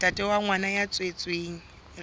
ntate wa ngwana ya tswetsweng